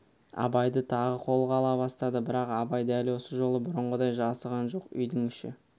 абайды тағы қолға ала бастады бірақ абай дәл осы жолы бұрынғыдай жасыған жоқ үйдің іші